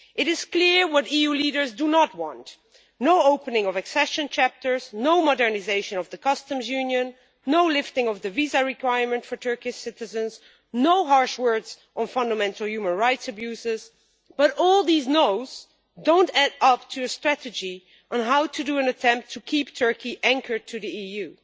It is clear what EU leaders do not want no opening of accession chapters, no modernisation of the Customs Union, no lifting of the visa requirement for Turkish citizens, no harsh words on fundamental human rights abuses but all these noes do not add up to a strategy on how to make an attempt to keep Turkey anchored to the EU.